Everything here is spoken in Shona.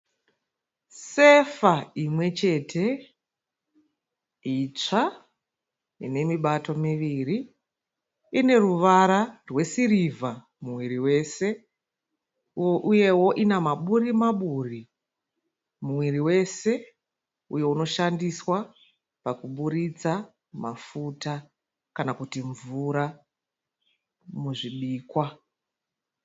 Sefa imwe chete itsva inemibato miviri ineruvara rwesirivha muviri wese uyewo ine maburi maburi muviri wese uyo unoshandiswa pakuburitsa mafuta kana kuti mvura muzvibhikwa.